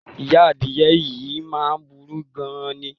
Ìyá adìye̩ yìí máa burú gan-an ni.